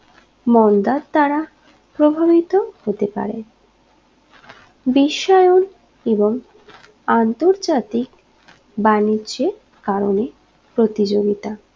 মন্দার দ্বারা প্রভাবিত হতে পারে বিশ্বায়ন এবং আন্তর্জাতিক বাণিজ্যে কারণে প্রতিযোগিতা